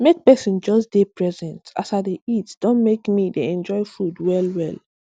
make pesin just dey present as i dey eat don make me dey enjoy food well well